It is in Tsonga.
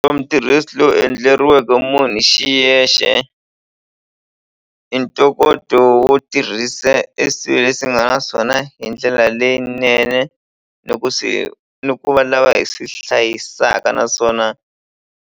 mutirhisi lowu endleriweke munhu hi xiyexe i ntokoto wo tirhisa e swilo leswi nga na swona hi ndlela leyinene loko se ni ku va lava hi swi hlayisaka naswona.